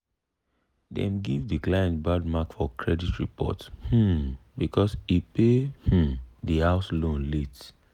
dem give de client bad mark for credit report um because e pay um de house loan late.